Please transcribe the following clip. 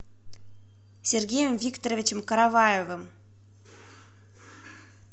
сергеем викторовичем караваевым